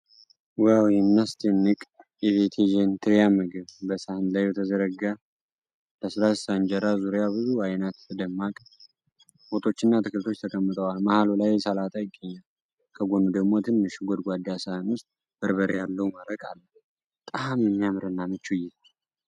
ዋው፣ የሚያስደንቅ የቬጀቴሪያን ምግብ! በሳህን ላይ በተዘረጋ ለስላሳ እንጀራ ዙሪያ ብዙ አይነት ደማቅ ወጦችና አትክልቶች ተቀምጠዋል። መሃሉ ላይ ሰላጣ ይገኛል፤ ከጎኑ ደግሞ ትንሽ ጎድጓዳ ሳህን ውስጥ በርበሬ ያለው መረቅ አለ። በጣም የሚያምርና ምቹ እይታ!